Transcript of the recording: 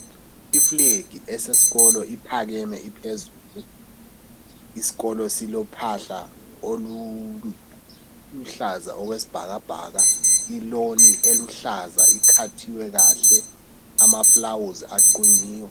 Iflegi esesitolo iphakeme iphezulu isikolo silophahla oluluhlaza okwesibhakabhaka iloni eluhlaza ikhathiwe kahle amafulawuzi aqunyiwe.